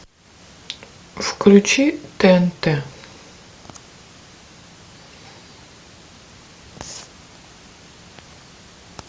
включи тнт